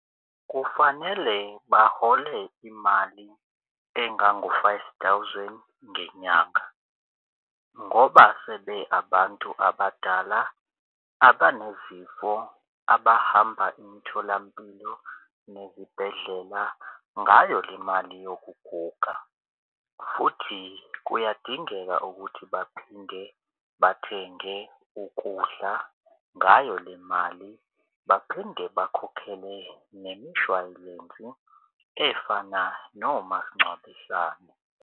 Kufanele bahole imali engango-five thousand ngenyanga ngoba sebe abantu abadala abanezifo abahamba imitholampilo nezibhedlela ngayo le mali yokuguga. Futhi kuyadingeka ukuthi baphinde bathenge ukudla ngayo le mali. Baphinde bakhokhele nemishwalensi efana nomasingcwabisane.